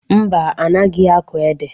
Mba, anaghị akọ ede.